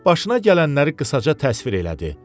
Başına gələnləri qısaca təsvir elədi.